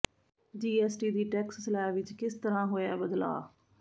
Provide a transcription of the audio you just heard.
GST ਦੀ tax slab ਵਿੱਚ ਕਿਸ ਤਰ੍ਹਾਂ ਹੋਇਆ ਬਦਲਾਅ